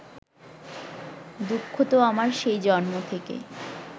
দুঃখ তো আমার সেই জন্ম থেকে